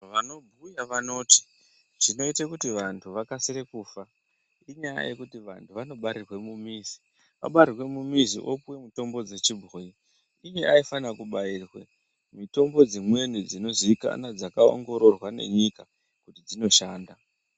Vanobhuya vanoti zvinoite kuti vantu vakasire kufa inyaya yekuti vantu vanobarirwe mumizi vabarirwe mumizi vopuwa mutombo wechibhoyi iye aifana kubairwe mitombo dzimweni dzinoziikanwa dzakaongororwa ngenyika kuti dzinoshanda.